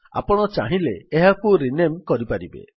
ଆପଣ ଚାହିଁଲେ ଏହାକୁ ରିନେମ୍ପୁନଃ ନାମକରଣ କରିପାରିବେ